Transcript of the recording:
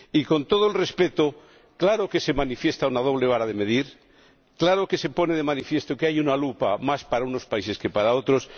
Y con todo el respeto está claro que se manifiesta una doble vara de medir, que se pone de manifiesto que hay una lupa más para unos países que para otros.